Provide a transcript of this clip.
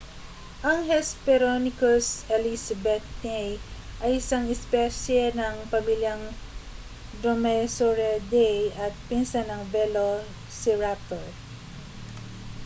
ang hesperonychus elizabethae ay isang espesye ng pamilyang dromaeosauridae at pinsan ng velociraptor